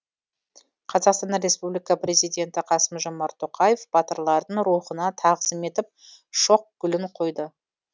қазақстан республика президенті қасым жомарт тоқаев батырлардың рухына тағзым етіп шоқ гүлін қойды